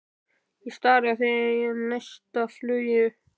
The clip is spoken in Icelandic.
Ég stari á þig í neistafluginu.